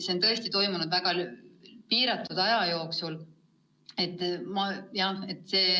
See on tõesti toimunud väga lühikese aja jooksul.